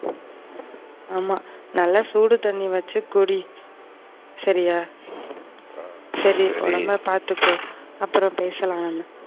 ஆமா நல்லா சூடு தண்ணி வச்சு குடி. சரியா, சரி உடம்ப பாத்துக்கோ அப்பறம் பேசலாம் நம்ம.